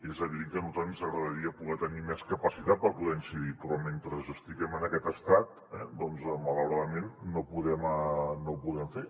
és evident que a nosaltres ens agradaria poder tenir més capacitat per poder hi incidir però mentre estiguem en aquest estat doncs malauradament no ho podem fer